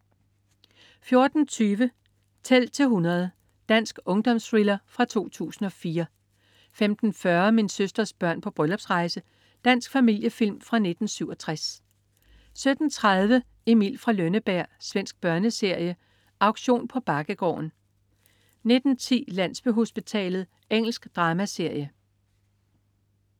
14.20 Tæl til 100. Dansk ungdomsthriller fra 2004 15.40 Min søsters børn på bryllupsrejse. Dansk familiefilm fra 1967 17.30 Emil fra Lønneberg. Svensk børneserie. Auktion på Bakkegården 19.10 Landsbyhospitalet. Engelsk dramaserie